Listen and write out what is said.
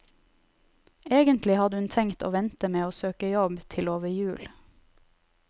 Egentlig hadde hun tenkt å vente med å søke jobb til over jul.